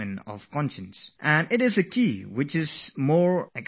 It is one of the simplest keys; you must pay more attention to it